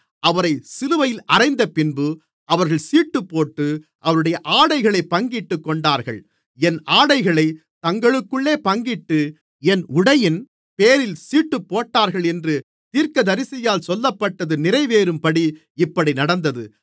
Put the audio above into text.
அவரை சிலுவையில் அறைந்தபின்பு அவர்கள் சீட்டுப்போட்டு அவருடைய ஆடைகளைப் பங்கிட்டுக் கொண்டார்கள் என் ஆடைகளைத் தங்களுக்குள்ளே பங்கிட்டு என் உடையின் பேரில் சீட்டுப்போட்டார்கள் என்று தீர்க்கதரிசியால் சொல்லப்பட்டது நிறைவேறும்படி இப்படி நடந்தது